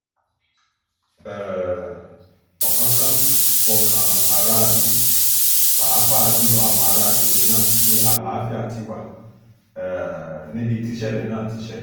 um ọ̀kánkánmí fọkàn aráàlú pàápàá jù lọ àwọn ará àgbègbè náà pé àlàáfíà ti wà um níbi tíṣẹ̀lẹ̀ náà ti ṣẹlẹ̀